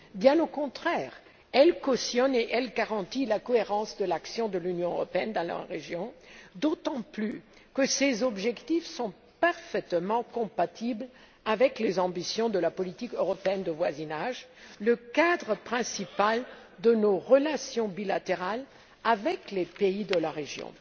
Bien au contraire, elle cautionne et elle garantit la cohérence de l'action de l'Union européenne dans la région, d'autant plus que ses objectifs sont parfaitement compatibles avec les ambitions de la politique européenne de voisinage, le cadre principal de nos relations bilatérales avec les pays de la région.